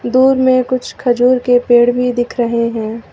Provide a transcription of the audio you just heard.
दूर में कुछ खजूर के पेड़ भी दिख रहे हैं।